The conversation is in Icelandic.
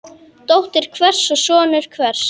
Dóttir hvers og sonur hvers.